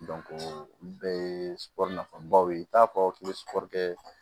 olu bɛɛ ye nafabaw ye i t'a fɔ k'i bɛ sɔrɔri kɛ